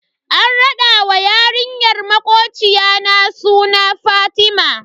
An rada wa yarinyar makocina suna Fatima.